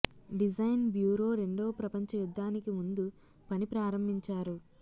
design bureau రెండవ ప్రపంచ యుద్ధానికి ముందు పని ప్రారంభించారు